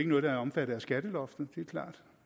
noget der er omfattet af skatteloftet eller